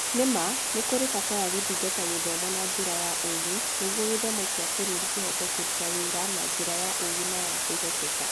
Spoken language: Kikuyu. Nĩ ma, nĩ kũrĩ bata wa gũthingata gĩthomo na njĩra ya ũũgĩ nĩguo gĩthomo kĩa bũrũri kĩhote kũruta wĩra na njĩra ya ũũgĩ na ya kwĩhokeka.